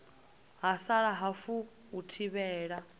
ha sala hafu u thivhela